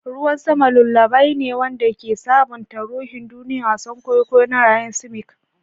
Ruwan sama lullaby ne wanda ke sabunta ruhin duniya, wasan kwaikwayo na rhythmic.